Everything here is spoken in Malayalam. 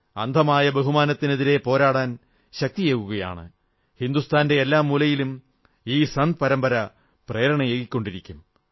അന്ധമായ ബഹുമാനത്തിനെതിരെ പോരാടാൻ ശക്തിയേകുകയാണ് ഹിന്ദുസ്ഥാന്റെ എല്ലാ മൂലയിലും ഈ സന്യാസി പരമ്പര പ്രേരണയേകിക്കൊണ്ടിരിക്കും